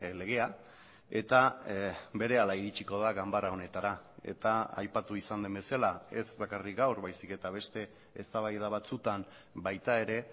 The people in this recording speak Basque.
legea eta berehala iritziko da ganbara honetara eta aipatu izan den bezala ez bakarrik gaur baizik eta beste eztabaida batzutan baita ere